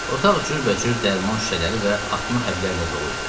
Otaq cürbəcür dərman şüşələri və atma həblərlə dolu idi.